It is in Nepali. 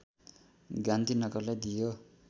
गान्धीनगरलाई दिइयो